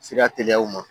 Sira teliyaw ma